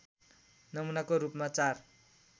नमुनाको रूपमा चार